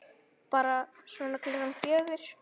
Bara svona klukkan fjögur.